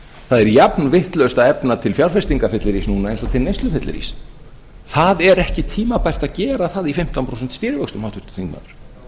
það er jafn vitlaust að efna til fjárfestingafyllirís núna eins og til neyslufyllirís það er ekki tímabært að gera það í fimmtán prósent stýrivöxtum háttvirtur þingmaður